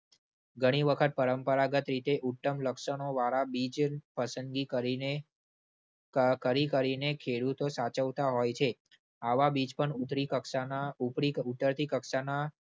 ઘણી વખત પરંપરાગત રીતે ઉત્તમ લક્ષણોવાળા બીજ પસંદગી કરીને કકરી કરીને ખેડૂતો સાચવતા હોય છે. આવા બીજ પણ ઉતરી કક્ષાના ઉપરી ઉતરતી કક્ષાના